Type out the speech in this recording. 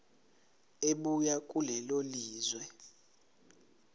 ebuya kulelo lizwe